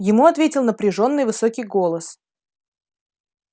ему ответил напряжённый высокий голос